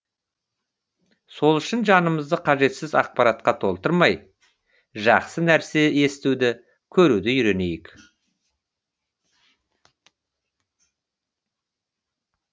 сол үшін жанымызды қажетсіз ақпаратқа толтырмай жақсы нәрсе естуді көруді үйренейік